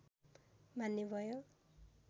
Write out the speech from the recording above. मान्य भयो